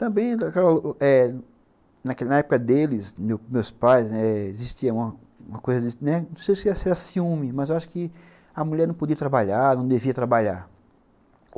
Também, na época deles, meus pais, existia uma coisa, não sei se era ciúme, mas eu acho que a mulher não podia trabalhar, não devia trabalhar.